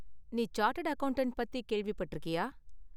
நீ chartered accountant பத்தி கேள்விப்பட்டிருக்கியா?